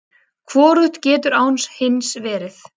Hvorugt getur án hins verið!